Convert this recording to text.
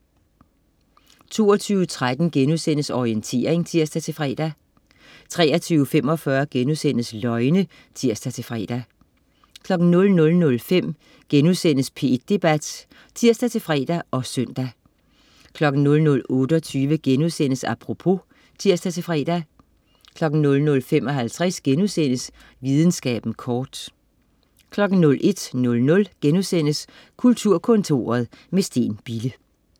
22.13 Orientering* (tirs-fre) 23.45 Løgne* (tirs-fre) 00.05 P1 Debat* (tirs-fre og søn) 00.28 Apropos* (tirs-fre) 00.55 Videnskaben kort* 01.00 Kulturkontoret med Steen Bille*